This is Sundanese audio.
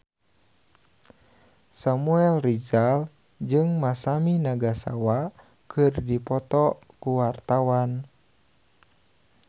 Samuel Rizal jeung Masami Nagasawa keur dipoto ku wartawan